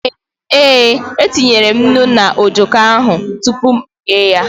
Ee, etinyere m nnu na ojoko ahụ tupu m eghe ya.